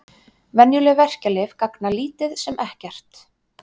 Venjuleg verkjalyf gagna lítið sem ekkert.